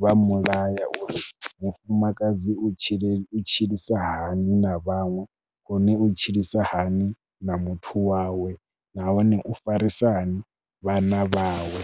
vha mu laya uri mufumakadzi u tshila u tshilisa hani na vhaṅwe, hone u tshilisa hani na muthu wawe nahone u farisa hani vhana vhaṅwe.